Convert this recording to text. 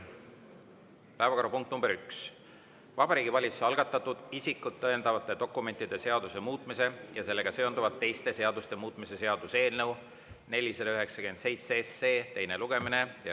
Päevakorrapunkt nr 1: Vabariigi Valitsuse algatatud isikut tõendavate dokumentide seaduse muutmise ja sellega seonduvalt teiste seaduste muutmise seaduse eelnõu 497 teine lugemine.